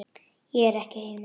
Ég er ekki heima